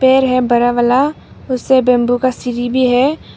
पेड़ है बड़ा वाला उससे बैंबू का सीरी भी है।